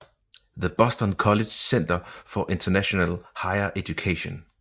The Boston College Center for International Higher Education